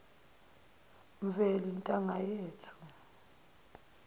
mveli ntanga yethu